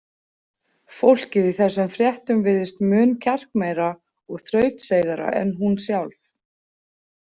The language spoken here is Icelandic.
Fólkið í þessum fréttum virðist mun kjarkmeira og þrautseigara en hún sjálf.